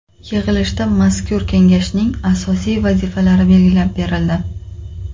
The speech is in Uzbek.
Yig‘ilishda mazkur kengashning asosiy vazifalari belgilab berildi.